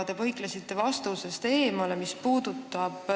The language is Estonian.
Te põiklesite vastusest kõrvale.